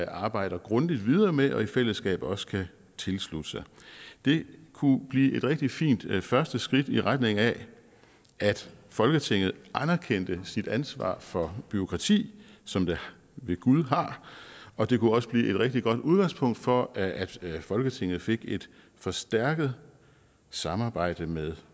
arbejder grundigt videre med og i fællesskab også kan tilslutte sig det kunne blive et rigtig fint første skridt i retning af at folketinget anerkendte sit ansvar for bureaukrati som det ved gud har og det kunne også blive et rigtig godt udgangspunkt for at folketinget fik et forstærket samarbejde med